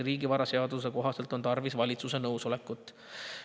Riigivaraseaduse kohaselt on selleks tarvis valitsuse nõusolekut.